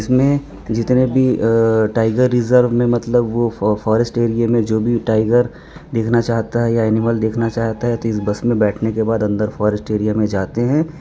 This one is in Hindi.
इसमें जितने भी टाइगर रिजर्व में मतलब वह फॉरेस्ट एरिया में जो भी टाइगर देखना चाहता है या एनिमल देखना चाहता है इस बस में बैठने के बाद अंदर फॉरेस्ट एरिया में जाते हैं।